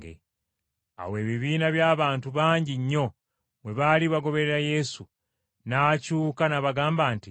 Awo ebibiina by’abantu bangi nnyo bwe baali bagoberera Yesu, n’akyuka n’abagamba nti,